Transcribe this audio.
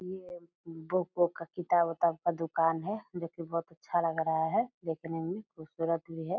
ये बुक उक का किताब उताब का दुकान है जो की बहुत अच्छा लग रहा है देखने में खूबसूरत भी है।